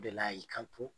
O de la y'i kanto